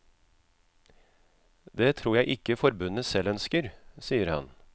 Det tror jeg ikke forbundene selv ønsker, sier han.